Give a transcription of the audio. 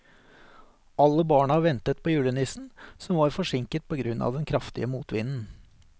Alle barna ventet på julenissen, som var forsinket på grunn av den kraftige motvinden.